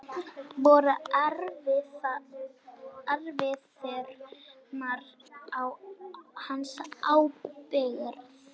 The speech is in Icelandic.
Voru erfðirnar á hans ábyrgð?